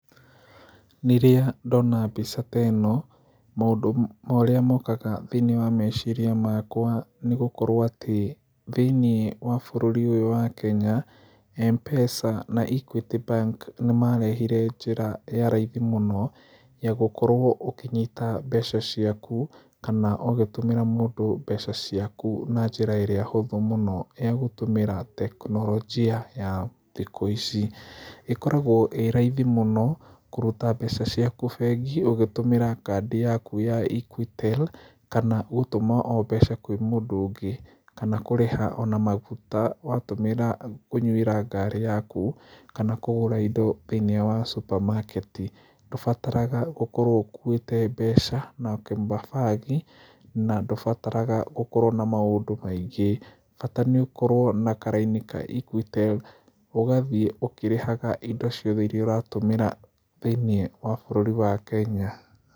Rĩrĩa ndona mbica ta ĩno maũndũ marĩa mokaga thĩiniĩ wa meciria makwa nĩ gũkorwo atĩ thĩiniĩ wa bũrũri ũyũ wa kenya Mpesa na Equity Bank nĩ marehire njĩra ya raithi mũno, ya gũkorwo ũkĩnyita mbeca ciaku, kana ũgĩtũmĩra mũndũ mbeca ciaku na njĩra ĩrĩa hũthũ mũno ya gũtũmĩra tekinoronjia a ya thikũ ici, ĩkoragwo ĩraithi mũno kũruta mbeca ciaku bengi ũgĩtũmĩra kandi yaku ya Equitel, kana o gũtuma mbeca kwĩ mũndũ ũngĩ, kana kũrĩha ona maguta watũmĩra kũnywĩra ngari yaku, kana kũgũra indo thĩiniĩ wa supermarket, ndũbataraga gũkorwo ũkũĩte mbeca, na ndũbataraga gũkorwo na maũndũ maingĩ, bata nĩ ũkorwo na karaini ka Equitel ũgathiĩ ũkĩrĩhaga indo ciothe iria ũratũmĩra thĩiniĩ wa bũrũri wa Kenya.